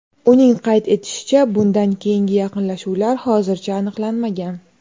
Uning qayd etishicha, bundan keyingi yaqinlashuvlar hozircha aniqlanmagan.